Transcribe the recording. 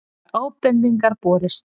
Margar ábendingar borist